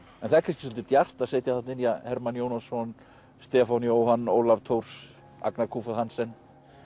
en það er kannski svolítið djarft að setja þarna inn Hermann Jónasson Stefán Jóhann Ólaf Thors Agnar Hansen